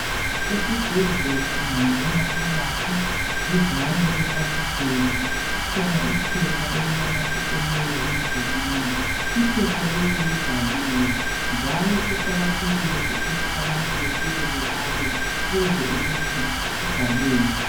Esibhedlela ungangena phakathi duzane kwefasiteli kukhona iphepha elilanamathiselweyo emdulini. Iphepha leli libhaliwe njalo kuqakathekile ukuthi abantu befike bebale bezwe ukuthi kubhalweni.